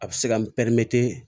A bɛ se ka